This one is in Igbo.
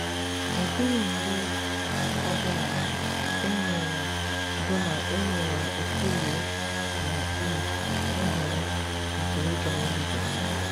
Ọ dịghị mgbe ọ bụla e nyere bụla e nyere Okolie na Iv nhọrọ nke ịga eluigwe.